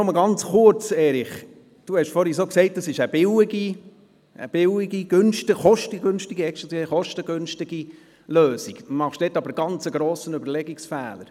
Erich Hess, Sie haben vorhin gesagt, es handle sich um eine kostengünstige Lösung, aber Sie machen einen ganz grossen Überlegungsfehler.